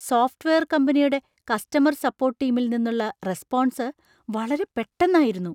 Software കമ്പനിയുടെ customer support ടീമിൽ നിന്നുള്ള റെസ്‌പോൺസ് വളരെ പെട്ടന്നായിരുന്നു!